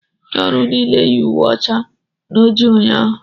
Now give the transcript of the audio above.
Ndị ọrụ niile yi uwe ọcha na ojii ụnyaahụ